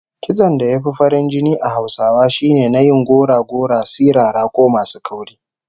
Kitson da ya fi farin jini a Hausawa shine na yin gora-gora, sirara ko masu kauri